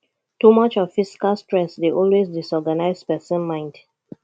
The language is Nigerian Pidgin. too much of physical stress dey always disorganise persin mind